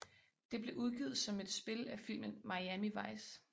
Det blev udgivet som et spil af filmen Miami Vice